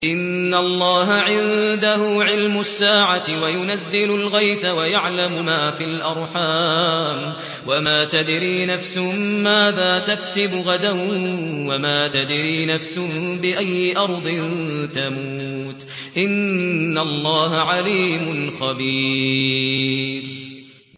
إِنَّ اللَّهَ عِندَهُ عِلْمُ السَّاعَةِ وَيُنَزِّلُ الْغَيْثَ وَيَعْلَمُ مَا فِي الْأَرْحَامِ ۖ وَمَا تَدْرِي نَفْسٌ مَّاذَا تَكْسِبُ غَدًا ۖ وَمَا تَدْرِي نَفْسٌ بِأَيِّ أَرْضٍ تَمُوتُ ۚ إِنَّ اللَّهَ عَلِيمٌ خَبِيرٌ